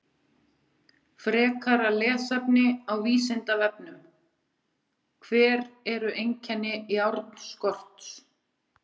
Frekara lesefni á Vísindavefnum: Hver eru einkenni járnskorts?